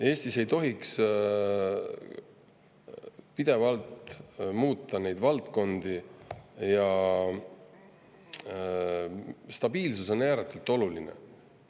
Eestis ei tohiks pidevalt neid valdkondi muuta, stabiilsus on ääretult oluline.